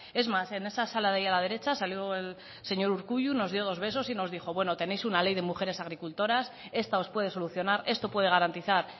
es más en esa sala de ahí a la derecha salió el señor urkullu nos dio dos besos y nos dijo tenéis una ley de mujeres agricultoras esta os puede solucionar esto puede garantizar